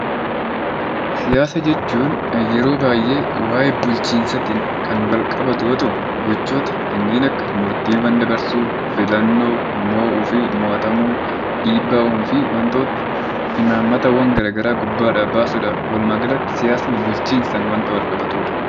Siyaasa jechuun yeroo baay'ee waa'ee bulchiinsaatiin kan wal qabatu yoo ta'u, gochoota kanneen akka murtiiwwan dabarsuu, filannoo, mo'uu fi mo'atamuu, dhiibbaa uumuu fi waantota imaammatawwan garagaraa gubbaadhaa baasuudha. walumaaagalatti siyaasni bulchiinsaan waan wal-qabatudha.